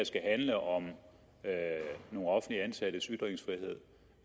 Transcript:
skal handle om nogle offentligt ansattes ytringsfrihed